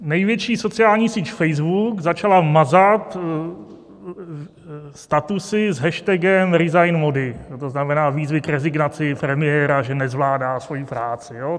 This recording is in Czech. Největší sociální síť Facebook začala mazat statusy s hashtagem ResignModi, to znamená výzvy k rezignaci premiéra, že nezvládá svoji práci.